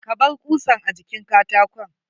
Kabar kusan a jikin karakon.